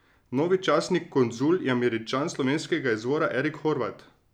Novi častni konzul je Američan slovenskega izvora Erik Horvat.